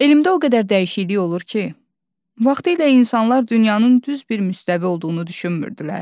Elmdə o qədər dəyişiklik olur ki, vaxtilə insanlar dünyanın düz bir müstəvi olduğunu düşünmürdülər.